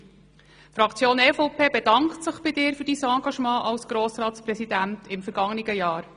Die EVP-Fraktion bedankt sich bei dir für dein Engagement als Grossratspräsident im vergangenen Jahr.